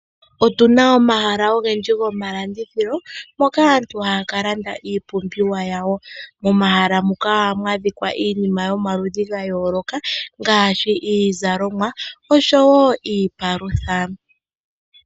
Otu na omahala ogendji gomalandithilo moka aantu haya kalanda iipumbiwa yawo. Momahala muka ohamu adhika iinima yomaludhi ga yooloka ngaaashi iizalomwa nosho wo iipalutha.